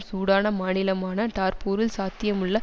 Sudan மாநிலமான டார்பூரில் சாத்தியமுள்ள